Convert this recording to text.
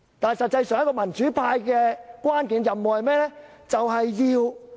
但是，民主派的關鍵任務是甚麼？